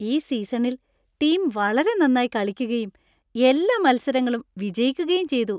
ഈ സീസണിൽ ടീം വളരെ നന്നായി കളിക്കുകയും എല്ലാ മത്സരങ്ങളും വിജയിക്കുകയും ചെയ്തു.